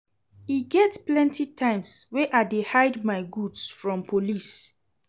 E get plenty times wey I dey hide my goods from police.